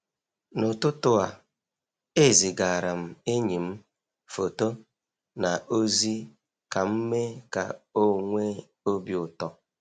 n'ụtụtụ a, ezigaara m enyi m foto na ozi ka m mee ka ọ nwee obi ụtọ.